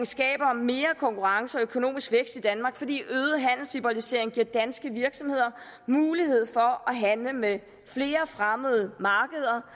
skaber mere konkurrence og økonomisk vækst i danmark fordi øget handelsliberalisering giver danske virksomheder mulighed for at handle med flere fremmede markeder